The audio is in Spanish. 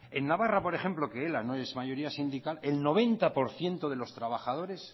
en navarra por ejemplo que ela no es mayoría sindical el noventa por ciento de los trabajadores